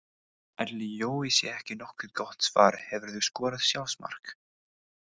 Ætli Jói sé ekki nokkuð gott svar Hefurðu skorað sjálfsmark?